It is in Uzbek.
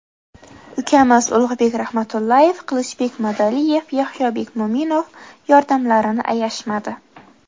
Ukamiz Ulug‘bek Rahmatullayev, Qilichbek Madaliyev, Yahyobek Mo‘minov yordamlarini ayashmadi.